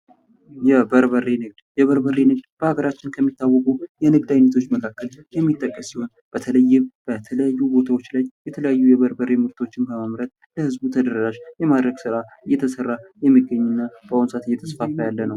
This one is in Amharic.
የበርበሬ ንግድ በአገራችን ከሚታወቁበት የንግድ ዓይነቶች መካከል የሚጠቀስ ሲሆን ፤ በተለያዩ ቦታዎች ላይ የተለያዩ የበርበሬ ምርቶችን በማምረት ለህዝቡ ተደራሽ የማድረግ ስራ እየተሰራ የሚገኝ እና በአሁኑ ሰዓት እየተስፋፋ ያለ ነው።